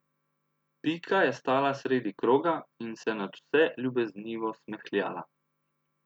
Pika je stala sredi kroga in se nadvse ljubeznivo smehljala.